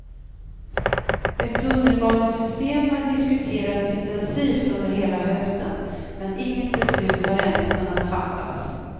Ett tunnelbanesystem har diskuterats intensivt under hela hösten, men inget beslut har ännu kunnat fattas.